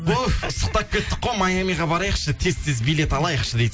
туф ыстықтап кеттік қой майамиге барайықшы тез тез билет алайықшы дейді